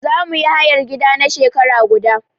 Za mu yi hayar gidan na shekara guda.